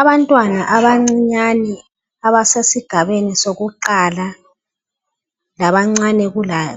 Abantwana abancinyane abasesigabeni sokuqala, labancane